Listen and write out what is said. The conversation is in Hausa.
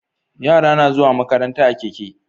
Yara na zuwa makaranta a keke